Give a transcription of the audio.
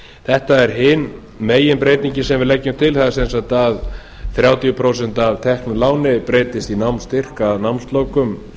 þetta er hin meginbreytingin sem við leggjum til það er sem sagt að þrjátíu prósent af teknu láni breytist í námsstyrk að námslokum